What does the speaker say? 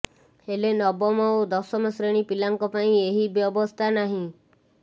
ହେଲେ ନବମ ଓ ଦଶମ ଶ୍ରେଣୀ ପିଲାଙ୍କ ପାଇଁ ଏହି ବ୍ୟବସ୍ଥା ନାହିଁ